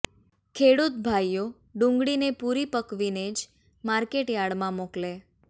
ખેડૂત ભાઈઓ ડુંગળી ને પુરી પકવીનેજ જ માર્કેટ યાર્ડમાં મોકલે